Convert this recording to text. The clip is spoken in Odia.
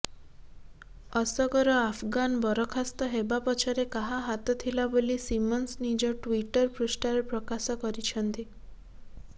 ଅସଗର ଆଫଗାନ ବରଖାସ୍ତ ହେବା ପଛରେ କାହା ହାତଥିଲା ବୋଲି ସିମନ୍ସ ନିଜ ଟ୍ବିଟର ପୃଷ୍ଠାରେ ପ୍ରକାଶ କରିଛନ୍ତି